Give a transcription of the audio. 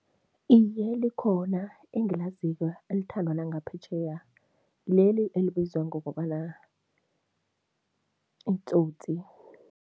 Iye, likhona engilaziko elithandwa nangaphetjheya, ngileli elibizwa ngokobana uTsotsi.